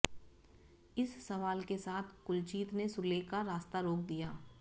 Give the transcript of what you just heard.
इस सवाल के साथ कुलजीत ने सुले का रास्ता रोक दिया